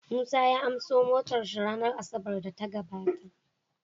Musa ya anso motar shi ranar asabar da ta gabata